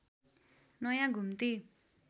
नयाँ घुम्ती